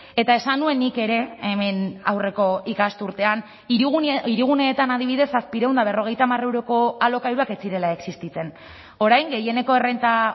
eta esan nuen nik ere hemen aurreko ikasturtean hiriguneetan adibidez zazpiehun eta berrogeita hamar euroko alokairuak ez zirela existitzen orain gehieneko errenta